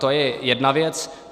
To je jedna věc.